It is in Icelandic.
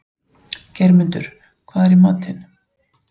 Geirmundur, hvað er í matinn?